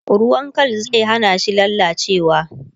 ruwan Kal zai hanashi lallacewa